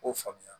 K'o faamuya